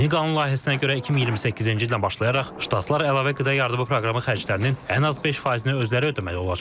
Yeni qanun layihəsinə görə 2028-ci ildən başlayaraq ştatlar əlavə qida yardımı proqramı xərclərinin ən az 5 faizini özləri ödəməli olacaqlar.